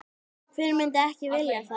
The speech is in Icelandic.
Hver myndi ekki vilja það?